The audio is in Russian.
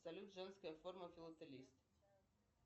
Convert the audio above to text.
салют женская форма филателист